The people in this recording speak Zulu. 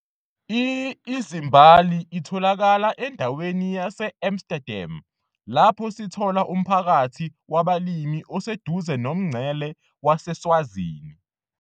i-Izimbali itholakala endaweni yase Amsterdam lapho sithola umphakathi wabalimi oseduze nomngcele waseSwazini.